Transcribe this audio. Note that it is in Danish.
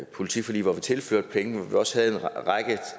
politiforlig hvor vi tilførte penge også